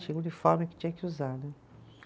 Tinha uniforme que tinha que usar, né?